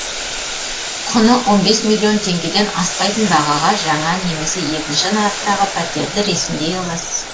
құны он бес миллион теңгеден аспайтын бағаға жаңа немесе екінші нарықтағы пәтерді ресімдей аласыз